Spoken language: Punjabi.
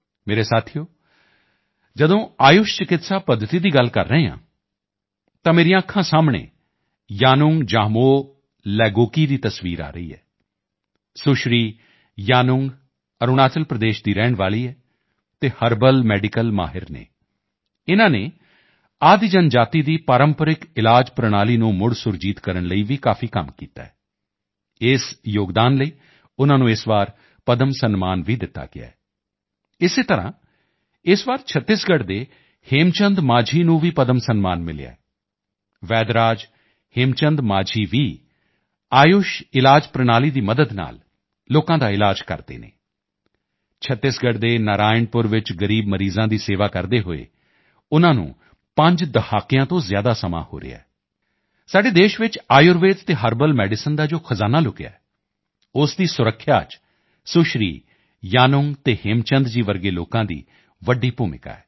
ਮੇਰੇ ਸਾਥੀਓ ਜਦੋਂ ਆਯੁਸ਼ ਚਿਕਿਤਸਾ ਪੱਧਤੀ ਦੀ ਗੱਲ ਕਰ ਰਿਹਾ ਹਾਂ ਤਾਂ ਮੇਰੀਆਂ ਅੱਖਾਂ ਸਾਹਮਣੇ ਯਾਨੁੰਗ ਜਾਮੋਹ ਲੈਗੋਕੀ ਦੀ ਤਸਵੀਰ ਆ ਰਹੀ ਹੈ ਸੁਸ਼੍ਰੀ ਯਾਨੁੰਗ ਅਰੁਣਾਚਲ ਪ੍ਰਦੇਸ਼ ਦੀ ਰਹਿਣ ਵਾਲੀ ਹੈ ਅਤੇ ਹਰਬਲ ਮੈਡੀਕਲ ਮਾਹਿਰ ਹਨ ਇਨ੍ਹਾਂ ਨੇ ਆਦਿ ਜਨਜਾਤੀ ਦੀ ਪਰੰਪਰਾਗਤ ਇਲਾਜ ਪ੍ਰਣਾਲੀ ਨੂੰ ਮੁੜ ਸੁਰਜੀਤ ਕਰਨ ਲਈ ਵੀ ਕਾਫੀ ਕੰਮ ਕੀਤਾ ਹੈ ਇਸ ਯੋਗਦਾਨ ਲਈ ਉਨ੍ਹਾਂ ਨੂੰ ਇਸ ਵਾਰ ਪਦਮ ਸਨਮਾਨ ਵੀ ਦਿੱਤਾ ਗਿਆ ਹੈ ਇਸੇ ਤਰ੍ਹਾਂ ਇਸ ਵਾਰ ਛੱਤੀਸਗੜ੍ਹ ਦੇ ਹੇਮਚੰਦ ਮਾਂਝੀ ਨੂੰ ਵੀ ਪਦਮ ਸਨਮਾਨ ਮਿਲਿਆ ਹੈ ਵੈਦ ਰਾਜ ਹੇਮਚੰਦ ਮਾਂਝੀ ਵੀ ਆਯੁਸ਼ ਇਲਾਜ ਪ੍ਰਣਾਲੀ ਦੀ ਮਦਦ ਨਾਲ ਲੋਕਾਂ ਦਾ ਇਲਾਜ ਕਰਦੇ ਹਨ ਛੱਤੀਸਗੜ੍ਹ ਦੇ ਨਾਰਾਇਣਪੁਰ ਵਿੱਚ ਗ਼ਰੀਬ ਮਰੀਜ਼ਾਂ ਦੀ ਸੇਵਾ ਕਰਦੇ ਹੋਏ ਉਨ੍ਹਾਂ ਨੂੰ 5 ਦਹਾਕਿਆਂ ਤੋਂ ਜ਼ਿਆਦਾ ਸਮਾਂ ਹੋ ਰਿਹਾ ਹੈ ਸਾਡੇ ਦੇਸ਼ ਚ ਆਯੁਰਵੇਦ ਅਤੇ ਹਰਬਲ ਮੈਡੀਸਿਨ ਦਾ ਜੋ ਖਜ਼ਾਨਾ ਲੁਕਿਆ ਹੈ ਉਸ ਦੀ ਸੁਰੱਖਿਆ ਚ ਸੁਸ਼੍ਰੀ ਯਾਨੁੰਗ ਅਤੇ ਹੇਮਚੰਦ ਜੀ ਵਰਗੇ ਲੋਕਾਂ ਦੀ ਵੱਡੀ ਭੂਮਿਕਾ ਹੈ